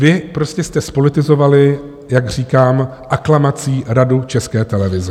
Vy prostě jste zpolitizovali, jak říkám, aklamací Radu České televize.